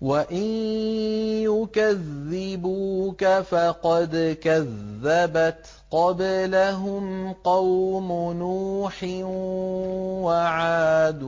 وَإِن يُكَذِّبُوكَ فَقَدْ كَذَّبَتْ قَبْلَهُمْ قَوْمُ نُوحٍ وَعَادٌ